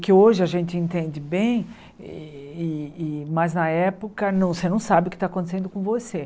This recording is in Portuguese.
Que hoje a gente entende bem, e e mas na época você não sabe o que está acontecendo com você.